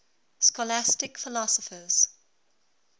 scholastic philosophers